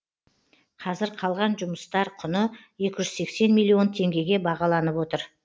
қазір қалған жұмыстар құны екі жүз сексен миллион теңгеге бағаланып отыр